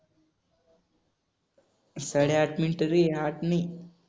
साडेआठ मिनिटं रे आठ नाही